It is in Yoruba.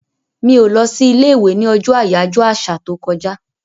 Mi ò lọ sí ilé-ìwé ní ọjọ́ àyájọ́ àṣà tó kọjá.